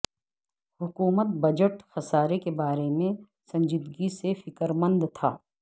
حکومت بجٹ خسارے کے بارے میں سنجیدگی سے فکر مند تھا